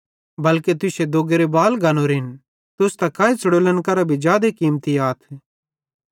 बल्के तुश्शे दोग्गेरे सारे बाल गनोरेन डरा नन्ना तुस त काई च़ुड़ोलन करां भी जादे कीमती आथ